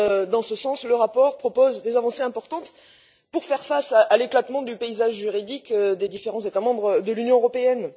Dans ce sens, le rapport propose des avancées importantes pour faire face à l'éclatement du paysage juridique des différents États membres de l'Union européenne.